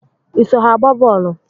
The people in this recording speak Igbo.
Ị so ha agba boolu?